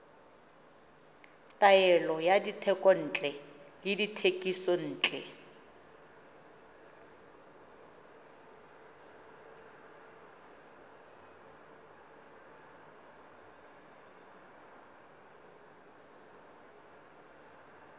taolo ya dithekontle le dithekisontle